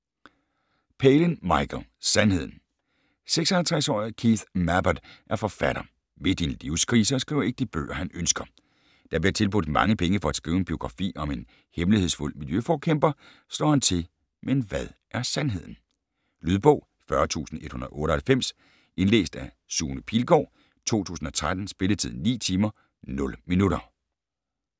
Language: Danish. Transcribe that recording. Palin, Michael: Sandheden 56-årige Keith Mabbut er forfatter, midt i en livskrise og skriver ikke de bøger, han ønsker. Da han bliver tilbudt mange penge for at skrive en biografi om en hemmelighedsfuld miljøforkæmper, slår han til. Men hvad er sandheden? Lydbog 40198 Indlæst af Sune Pilgaard, 2013. Spilletid: 9 timer, 0 minutter.